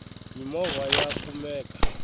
mimova ya kumeka